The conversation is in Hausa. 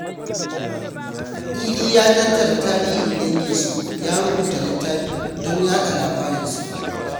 Idi ya tattara tarihin danginsu ya rubuta littafi don yaɗa labarinsu.